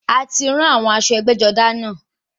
A ti rán àwọn aṣọ ẹgbẹ́-jọdá náà.